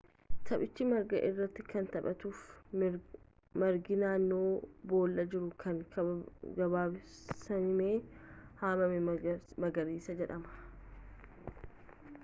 taphichi marga irratti kan taphatamuufi margi naannoo boollaa jiru kan gabaabsamee haamame magariisa jedhama